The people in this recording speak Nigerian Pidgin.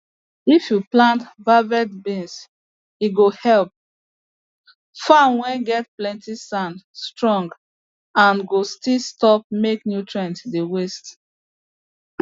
if you plant valvet beans e go help farm whey get plenty sand strong and go still stop make nutrients dey waste